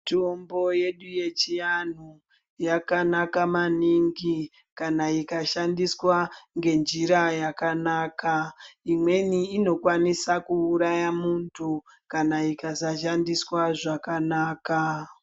Mitombo yedu yechiantu yakanaka maningi kana ika shandiswa ngenjira yakanaka. Imweni inokwanisa kuuraya muntu kana ikasa shandiswa zvakanaka.